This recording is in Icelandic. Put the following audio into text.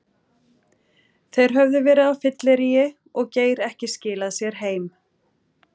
Þeir höfðu verið á fylleríi og Geir ekki skilað sér heim.